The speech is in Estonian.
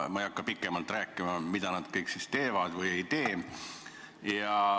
Ma ei hakka pikemalt rääkima, mida nad kõik siis teevad või ei tee.